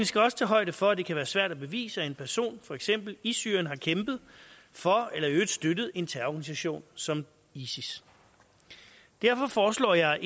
skal også tage højde for at det kan være svært at bevise at en person for eksempel i syrien har kæmpet for eller i øvrigt støttet en terrororganisation som is is derfor foreslår jeg